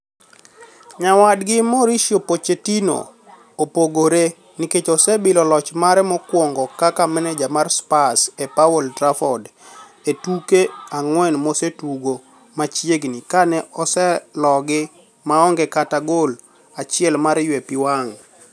Nyawadgi Mauricio Pochettino, opogore, nikech osebilo loch mare mokwongo kaka maneja mare mar Spurs e paw Old Trafford, e tuke ang'wen mosetugo machiegni kane oselogi maonge kata gol achiel mar ywe pii wang'.